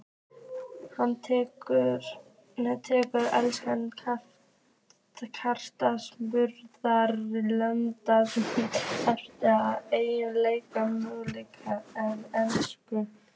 Tekur enska knattspyrnusambandið harðar á erlendum leikmönnum en enskum?